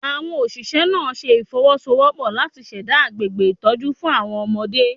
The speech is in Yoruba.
Awon Oṣiṣẹ naa ṣe ifowosowopo lati ṣẹda agbegbe itọju fun awọn ọmọde